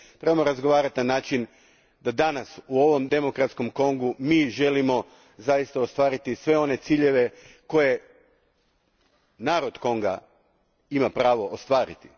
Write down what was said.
Trebamo razgovarati na način da danas u ovom demokratskom Kongu mi želimo zaista ostvariti sve one ciljeve koje narod Konga ima pravo ostvariti.